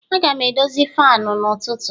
Aga m edozi fanu n'ụtụtụ